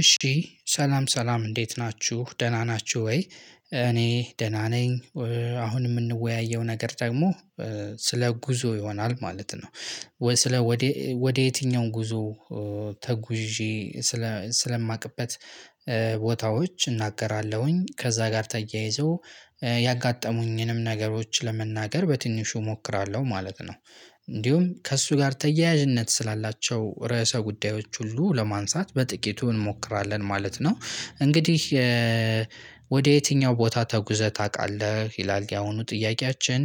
እሺ ሰላም ሰላም እንዴት ናችሁ ደህና ናችሁ ወይ እኔ ደህና ነኝ። አሁን የምንወያየው ነገር ደግሞ ስለ ጉዞ ይሆናል ማለት ነው። ስለ ወደ ወደ የትኛው ጉዞ? ተጉዤ ስለ ስለማቅበት ቦታዎች እናገራለሁኝ ከዛ ጋር ተያይዞ ያጋጠሙኝንም ነገሮች ለመናገር በትንሹ እሞክራለሁ ማለት ነው። እንዲሁም ከእሱ ጋር ተያያዥነት ስላላቸው ርዕሰ ጉዳዮች ሁሉ ለማንሳት በጥቂቱ እንሞክራለን ማለት ነው። እንግዲህ ወደ የትኛው ቦታ ተጉዘህ ታውቃለህ ይላል ያሁኑ ጥያቄያችን?